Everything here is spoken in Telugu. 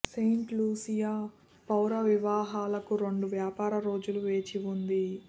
సెయింట్ లూసియా పౌర వివాహాలకు రెండు వ్యాపార రోజుల వేచి ఉంది